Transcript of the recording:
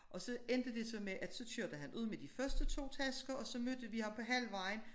Og så endte det så med at så kørte han ud med de første to tasker og så mødte vi ham på halvvejen